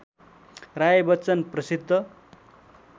राय बच्चन प्रसिद्ध